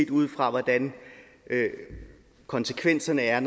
ud fra hvordan konsekvenserne er